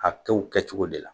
A bi t'o cogo de la.